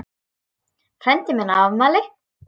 Frændi minn á afmæli.